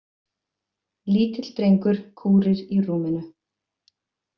Lítill drengur kúrir í rúminu.